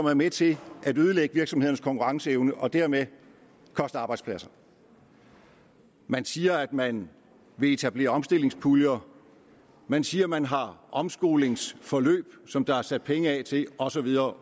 er med til at ødelægge virksomhedernes konkurrenceevne og dermed koste arbejdspladser man siger at man vil etablere omstillingspuljer man siger at man har omskolingsforløb som der er sat penge af til og så videre